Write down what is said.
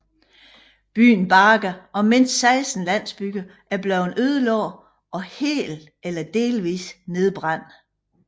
Byen Baga og mindst 16 landsbyer er blevet ødelagt og helt eller delvis nedbrændt